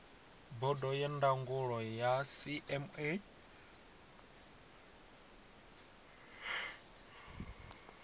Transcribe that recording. bodo ya ndangulo ya cma